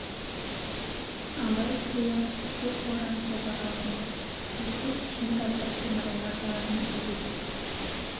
алай-түлей ақ түтек боран соғар алдында өстіп ішін тартып тымырая қалатын әдеті